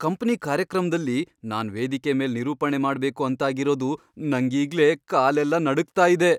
Company ಕಾರ್ಯಕ್ರಮ್ದಲ್ಲಿ ನಾನ್ ವೇದಿಕೆ ಮೇಲ್ ನಿರೂಪಣೆ ಮಾಡ್ಬೇಕು ಅಂತಾಗಿರೋದು ನಂಗೀಗ್ಲೇ ಕಾಲೆಲ್ಲ ನಡಗ್ತಾ ಇದೆ.